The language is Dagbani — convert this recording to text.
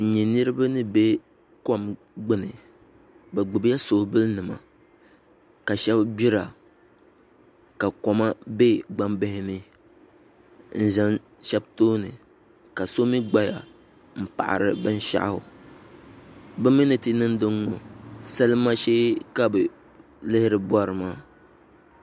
N nyɛ nuraba ni bɛ kom gbuni bi gbubila soobuli nima ka shab gbira ka koma bɛ gbambihi ni n ʒɛ shab tooni ka so mii gbaya n paɣari binshaɣu bi mii ni ti niŋdi n ŋo salima shee ka bi lihiri bori maa